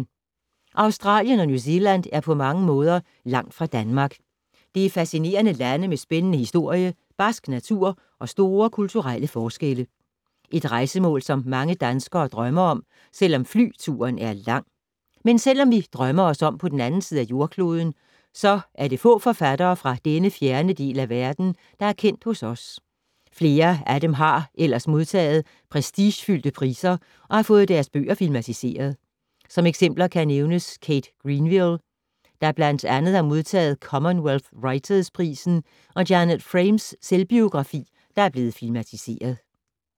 Australien og New Zealand er på mange måder langt fra Danmark. Det er fascinerende lande med spændende historie, barsk natur og store kulturelle forskelle. Et rejsemål, som mange danskere drømmer om, selvom flyturen er lang. Men selvom vi drømmer os om på den anden side af jordkloden, så er det få forfattere fra denne fjerne del af verden, der er kendt hos os. Flere af dem har ellers modtaget prestigefyldte priser og fået deres bøger filmatiseret. Som eksempler kan nævnes Kate Greenville, der blandt andet har modtaget Commonwealth Writers’ prisen og Janet Frames selvbiografi, der er blevet filmatiseret.